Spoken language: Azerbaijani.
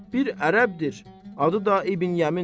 Bir ərəbdir, adı da İbn Yəmin.